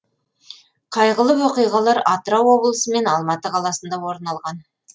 қайғылы оқиғалар атырау облысы және алматы қаласында орын алған